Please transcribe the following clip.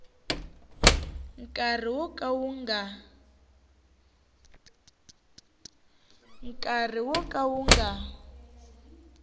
nkarhi wo ka wu nga